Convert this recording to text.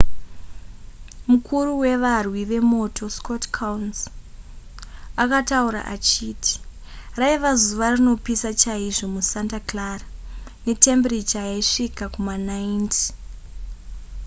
mukuru wevarwi vemoto scott kouns akataura achiti raiva zuva rinopisa chaizvo musanta clara netembiricha yaisvika kuma90